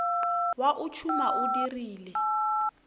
wa o tšhuma o dirile